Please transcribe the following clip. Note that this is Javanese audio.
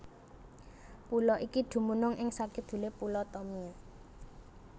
Pulo iki dumunung ing sakidulé Pulo Tomia